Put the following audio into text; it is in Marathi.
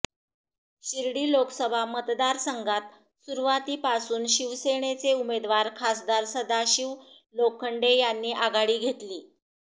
शिर्डी लोकसभा मतदारसंघात सुरुवातीपासून शिवसेनेचे उमेदवार खासदार सदाशिव लोखंडे यांनी आघाडी घेतली